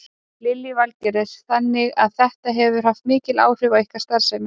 Lillý Valgerður: Þannig að þetta hefur haft mikil áhrif á ykkar starfsemi?